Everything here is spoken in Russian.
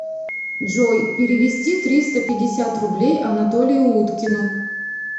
джой перевести триста пятьдесят рублей анатолию уткину